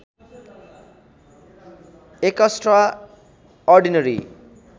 extra ordinary